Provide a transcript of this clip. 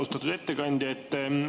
Austatud ettekandja!